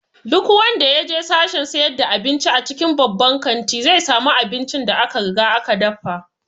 Duk wanda ya je sashen sayar da abinci a cikin babban kanti, zai samu aincin da aka riga aka dafa